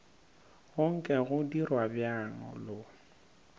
go nke go dirwa bjalo